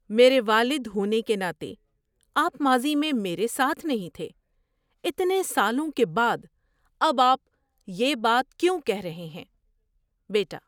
میرے والد ہونے کے ناطے، آپ ماضی میں میرے ساتھ نہیں تھے۔ اتنے سالوں کے بعد اب آپ یہ بات کیوں کہہ رہے ہیں؟ (بیٹا)